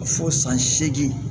Fɔ san segin